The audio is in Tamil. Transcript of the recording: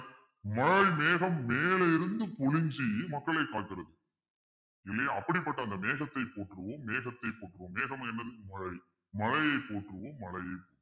மழை மேகம் மேல இருந்து குனிஞ்சு மக்களை பார்க்கிறது இல்லையா அப்படிப்பட்ட அந்த மேகத்தை போற்றுவோம் மேகத்தை போற்றுவோம் மேகம் என்பது மழை மழையை போற்றுவோம் மழையை போற்றுவோம்